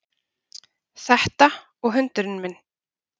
Þetta og hundurinn minn